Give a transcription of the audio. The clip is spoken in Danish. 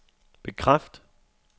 bekræft